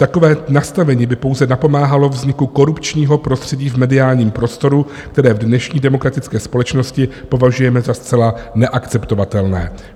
Takové nastavení by pouze napomáhalo vzniku korupčního prostředí v mediálním prostoru, které v dnešní demokratické společnosti považujeme za zcela neakceptovatelné."